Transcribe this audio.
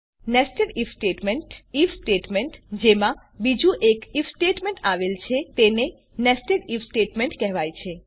nested IF statement IF statement જેમાં બીજું એક આઇએફ સ્ટેટમેંટ આવેલ છે તેને nested આઇએફ સ્ટેટમેંટ કહેવાય છે